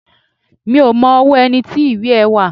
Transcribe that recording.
Mi ò mọ ọwọ́ ẹni tí ìwé ẹ́ wà